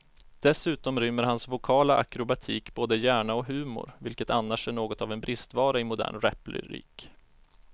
Dessutom rymmer hans vokala akrobatik både hjärna och humor, vilket annars är något av en bristvara i modern raplyrik.